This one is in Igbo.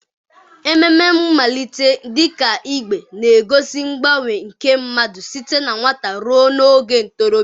Ememe mmalite dị ka Igbe na-egosi mgbanwe nke mmadụ site na nwata ruo n'oge ntorobịa.